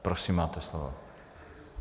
Prosím, máte slovo.